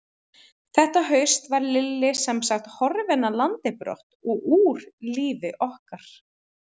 Þetta haust var Lilli semsagt horfinn af landi brott og úr lífi okkar.